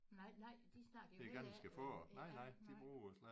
Nej nej de snakker jo ikke ja nej